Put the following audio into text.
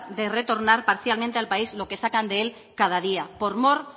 de retornar parcialmente al país lo que sacan de él cada día por mor